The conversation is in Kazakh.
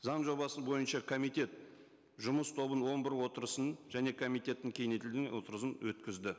заң жобасы бойынша комитет жұмыс тобының он бір отырысын және комитеттің кеңейтілген отырысын өткізді